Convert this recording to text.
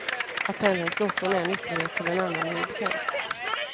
Att pendeln slår från en ytterlighet till en annan är ju bekant.